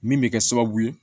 Min bɛ kɛ sababu ye